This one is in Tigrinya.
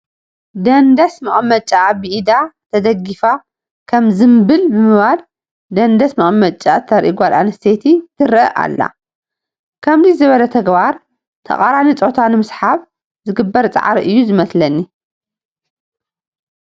ደንደስ መቐመጭኣ ብኢዳ ተደጊፋ ከም ዝምብል ብምባል ደንደስ መቐመጭኣ ተርኢ ጓል ኣነስተይቲ ትርአ ኣላ፡፡ ከምዚ ዝበለ ተግባር ተቓራኒ ፆታ ንምስሓብ ዝግበር ፃዕሪ እዩ ዝመስለኒ፡፡